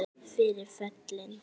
Fyrir föllin